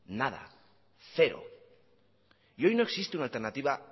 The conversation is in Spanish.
nada cero y hoy no existe una alternativa